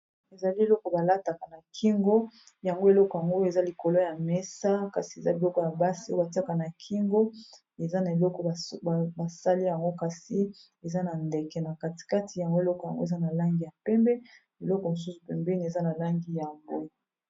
Ezali eloko, ba lataka na kingo. Yango eleko yango, eza likolo ya mesa. kasi eza biloko ya basi o ba tiaka na kingo. Eza, na eloko ba sali yango, kasi eza na ndeke na katikati. Yango eleko yango, eza na langi ya pembe. Eloko mosusu, pembeni eza na langi ya bwe.